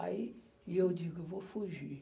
Aí e eu digo, eu vou fugir.